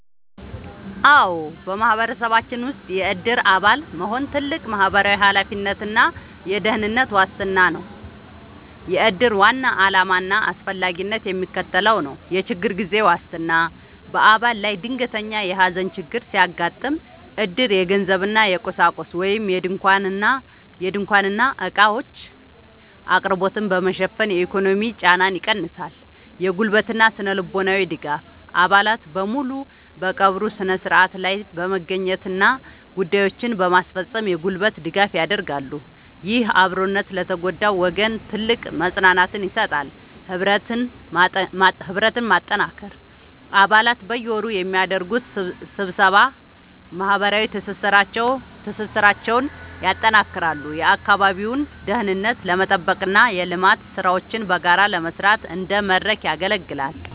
አዎ፣ በማህበረሰባችን ውስጥ የዕድር አባል መሆን ትልቅ ማህበራዊ ኃላፊነትና የደህንነት ዋስትና ነው። የዕድር ዋና ዓላማና አስፈላጊነት የሚከተለው ነው፦ የችግር ጊዜ ዋስትና፦ በአባል ላይ ድንገተኛ የሐዘን ችግር ሲያጋጥም፣ ዕድር የገንዘብና የቁሳቁስ (ድንኳንና ዕቃዎች) አቅርቦትን በመሸፈን የኢኮኖሚ ጫናን ይቀንሳል። የጉልበትና ስነ-ልቦናዊ ድጋፍ፦ አባላት በሙሉ በቀብሩ ሥነ ሥርዓት ላይ በመገኘትና ጉዳዮችን በማስፈጸም የጉልበት ድጋፍ ያደርጋሉ። ይህ አብሮነት ለተጎዳው ወገን ትልቅ መጽናናትን ይሰጣል። ህብረትን ማጠናከር፦ አባላት በየወሩ በሚያደርጉት ስብሰባ ማህበራዊ ትስስራቸውን ያጠናክራሉ፤ የአካባቢውን ደህንነት ለመጠበቅና የልማት ሥራዎችን በጋራ ለመስራት እንደ መድረክ ያገለግላል።